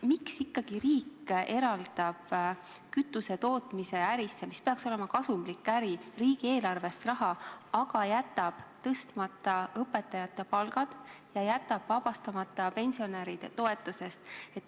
Miks ikkagi riik eraldab kütusetootmise ärisse, mis peaks olema kasumlik äri, riigieelarvest raha, aga jätab tõstmata õpetajate palgad ja jätab pensionärid vabastamata tulumaksust?